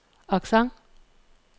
accent